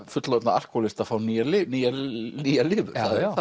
fullorðna alkóhólista fá nýja nýja lifur